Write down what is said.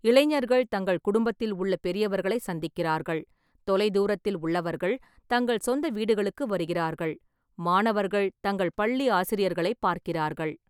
இளைஞர்கள் தங்கள் குடும்பத்தில் உள்ள பெரியவர்களை சந்திக்கிறார்கள், தொலைதூரத்தில் உள்ளவர்கள் தங்கள் சொந்த வீடுகளுக்கு வருகிறார்கள், மாணவர்கள் தங்கள் பள்ளி ஆசிரியர்களைப் பார்க்கிறார்கள்.